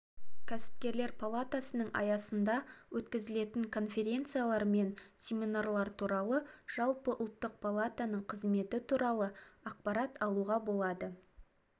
кәсіпкерлер палатасының аясында өткізілетін конференциялар мен семинарлар туралы жалпы ұлттық палатаныңқызметі туралы ақпарат алуға болады